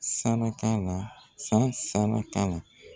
Sana t'a la, sansana t'a la.